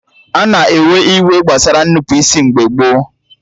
Ana ewe iwe gbasara Nnupụisi mgbe gboo